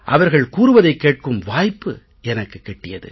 அவர்கள் கூறுவதைக் கேட்கும் வாய்ப்பு எனக்குக் கிட்டியது